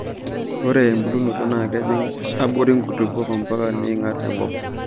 Ore embulunoto naa kejing' aborii nkulupuok ompaka neing'at enkop.